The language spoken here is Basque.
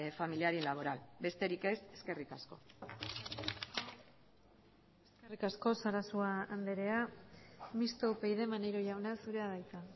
familiar y laboral besterik ez eskerrik asko eskerrik asko sarasua andrea mistoa upyd maneiro jauna zurea da hitza